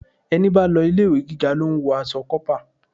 Ẹni bá lọ ilé-ìwé gíga lo ń wọ aṣọ kópa.